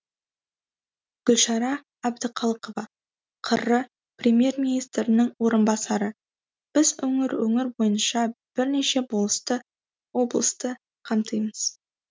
гүлшара әбдіқалықова қр премьер министрінің орынбасары біз өңір өңір бойынша бірнеше облысты қамтимыз